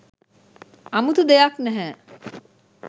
අමුතු දෙයක් නෑහෑ.